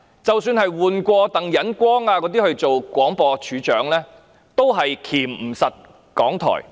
即使換了鄧忍光出任廣播處長，也無法箝制港台。